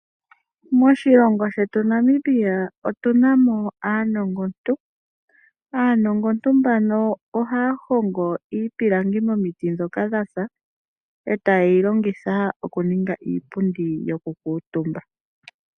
Moshilongo shetu Namibia otuna mo aanongontu. Aanongontu mbano ohaya hongo iipilangi momiti dhoka dhasa, etayeyi longitha okuninga iipundi yokukuutumba.